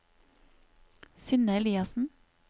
Synne Eliassen